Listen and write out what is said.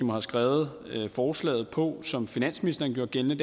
har skrevet forslaget på som finansministeren gjorde gældende